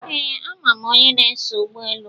Ee, ama m onye a na-eso ụgbọelu.